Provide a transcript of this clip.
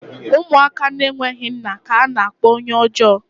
Ụmụaka na-enweghị nna ka a na-akpọ onye ọjọọ